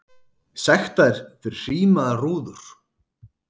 Sektaðir fyrir hrímaðar rúður